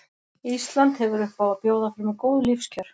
Ísland hefur upp á að bjóða fremur góð lífskjör.